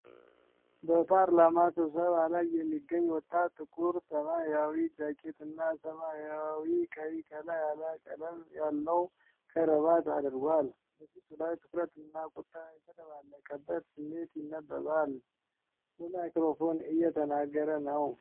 በፓርላማ ስብሰባ ላይ የሚገኝ ወጣት፣ ጥቁር ሰማያዊ ጃኬትና ሰማያዊና ቀይ ቀላ ያለ ቀለም ያለው ከረባት አድርጓል። በፊቱ ላይ ትኩረትና ቁጣ የተደባለቀበት ስሜት ይነበባል፣ በማይክሮፎን እየተናገረ ነው።